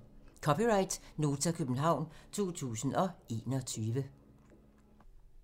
(c) Nota, København 2021